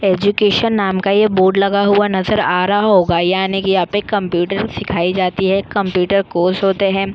Education नाम का ये बोर्ड लगा हुआ नजर आ रहा होगा यानि की यहापे कंप्यूटर सिखाये जाते है कंप्यूटर कोर्स होते है।